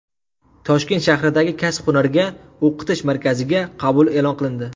Toshkent shahridagi Kasb-hunarga o‘qitish markaziga qabul e’lon qilindi.